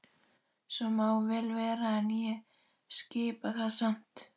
Svo má vel vera en ég skipa það samt.